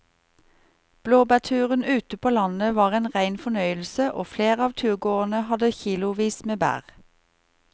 Blåbærturen ute på landet var en rein fornøyelse og flere av turgåerene hadde kilosvis med bær.